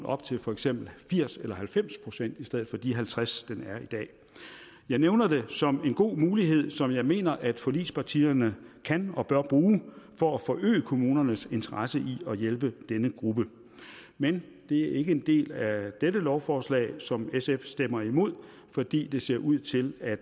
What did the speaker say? op til for eksempel firs eller halvfems procent i stedet for de halvtreds den er i dag jeg nævner det som en god mulighed som jeg mener at forligspartierne kan og bør bruge for at forøge kommunernes interesse i at hjælpe denne gruppe men det er ikke en del af dette lovforslag som sf stemmer imod fordi det ser ud til at